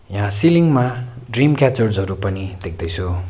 यहाँ सिलिङ मा dream catchers हरू पनि देख्छु।